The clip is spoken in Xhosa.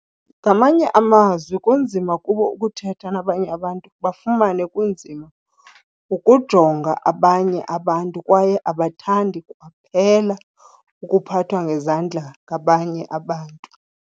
Ngamanye amazwi kunzima kubo ukuthetha nabanye abantu, bafumane kunzima ukujonga abanye abantu kwaye abathandi kwaphela ukuphathwa ngezandla ngabanye abantu.